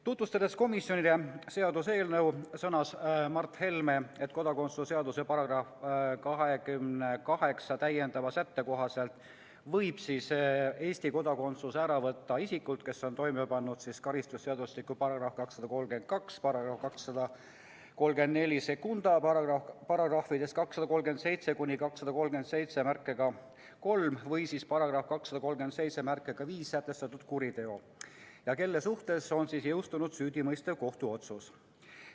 Tutvustades komisjonile seaduseelnõu, sõnas Mart Helme, et kodakondsuse seaduse § 28 täiendava sätte kohaselt võib Eesti kodakondsuse ära võtta isikult, kes on toime pannud karistusseadustiku §-s 232, §-s 2342, §-des 237–2373 või siis §-s 2375 sätestatud kuriteo ja kelle suhtes on jõustunud süüdimõistev kohtuotsus.